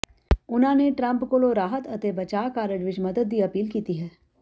ਉਨ੍ਹਾਂ ਨੇ ਟਰੰਪ ਕੋਲੋਂ ਰਾਹਤ ਅਤੇ ਬਚਾਅ ਕਾਰਜ ਵਿਚ ਮਦਦ ਦੀ ਅਪੀਲ ਕੀਤੀ ਹੈ